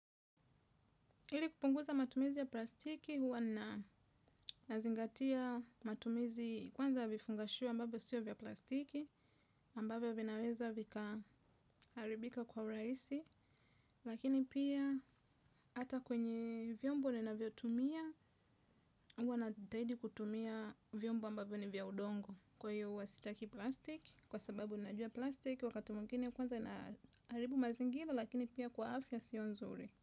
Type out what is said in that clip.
Hili kupunguza matumizi ya plastiki huwa nazingatia matumizi kwanza vifungashua ambapo siyo vya plastiki ambapo vinaweza vika haribika kwa raisi lakini pia hata kwenye vyombo nina vyotumia huwa najitahidi kutumia vyombo ambavyo ni vya udongo kwa hiyo huwa sitaki plastiki kwa sababu ninajua plastiki wakati mwingine kwanza inaharibu mazingira lakini pia kwa afya sio nzuri.